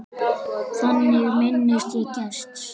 Þannig minnist ég Gests.